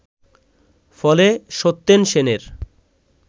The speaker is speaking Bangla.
ফলে সত্যেন সেনের